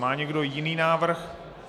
Má někdo jiný návrh?